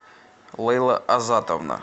лейла азатовна